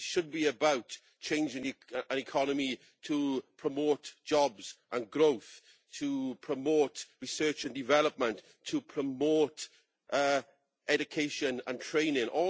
It should be about changing an economy to promote jobs and growth, to promote research and development, and to promote education and training.